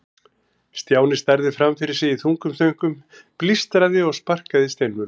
Stjáni starði fram fyrir sig í þungum þönkum, blístraði og sparkaði í steinvölur.